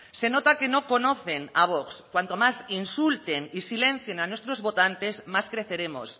se nota que no conocen a vox cuanto más insulten y silencien a nuestros votantes más creceremos